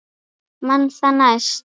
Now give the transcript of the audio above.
Man það næst!